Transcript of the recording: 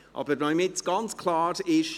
Damit es aber ganz klar ist: